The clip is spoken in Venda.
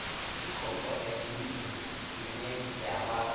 ndi khophorethivi ine ya vha